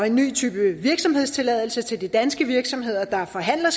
en ny type virksomhedstilladelse til de danske virksomheder der forhandler